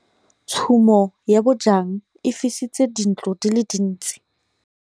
Tshumô ya bojang e fisitse dintlo di le dintsi.